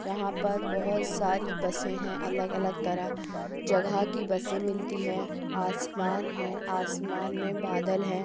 यहाँ पर बहुत सारी बसें हैँ अलग अलग तरह जगह की बसें मिलती हैँ आसमान हैँ आसमान में बादल हैँ।